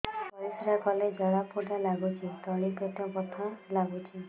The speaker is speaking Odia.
ପରିଶ୍ରା କଲେ ଜଳା ପୋଡା ଲାଗୁଚି ତଳି ପେଟ ବଥା ଲାଗୁଛି